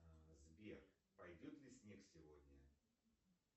сбер пойдет ли снег сегодня